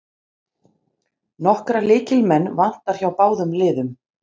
Nokkra lykilmenn vantar hjá báðum liðum